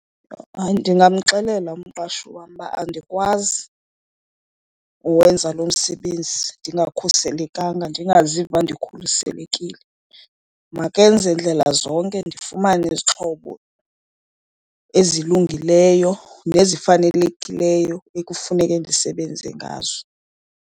Hayi ndingamxelela umqashi wam uba andikwazi kuwenza lo msebenzi ndingakhuselekanga, ndingaziva ndikhuselekile. Makenze ndlela zonke ndifumane izixhobo ezilungileyo nezifanelekileyo ekufuneke ndisebenze ngazo.